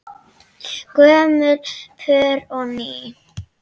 Gömul pör og ný.